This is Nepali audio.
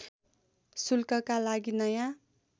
शुल्कका लागि नयाँ